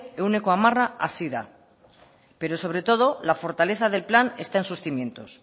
ehuneko hamara hazi da pero sobre todo la fortaleza del plan está en sus cimientos